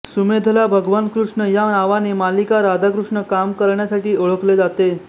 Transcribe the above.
सुमेधला भगवान कृष्णा या नावाने मालिका राधाकृष्ण काम करण्यासाठी ओळखले जाते